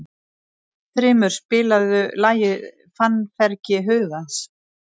Þrymur, spilaðu lagið „Fannfergi hugans“.